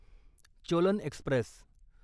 Cholan Express